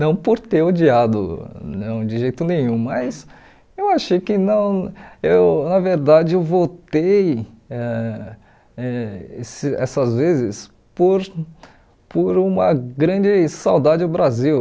Não por ter odiado, não de jeito nenhum, mas eu achei que não eu... Na verdade, eu voltei ãh eh esse essas vezes por por uma grande saudade do Brasil.